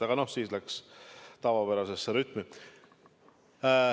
Aga siis läks see tavapärasesse rütmi.